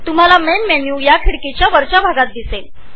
तुम्हाला विंडोच्या वरच्या भागाच्या उजव्या बाजूला मेन मेन्यु दिसेल